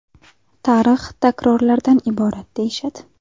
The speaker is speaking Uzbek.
Tarix takrorlardan iborat, deyishadi.